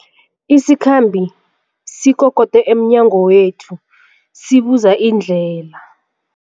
Isikhambi sikokode emnyango wethu sibuza indlela.